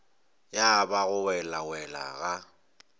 ya ba go welawela ga